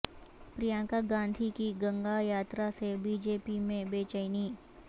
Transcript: پرینکا گاندھی کی گنگا یاترا سے بی جے پی میں بے چینی